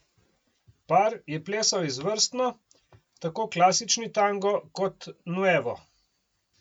Par je plesal izvrstno, tako klasični tango kot nuevo.